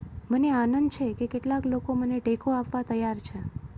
મને આનંદ છે કે કેટલાક લોકો મને ટેકો આપવા તૈયાર છે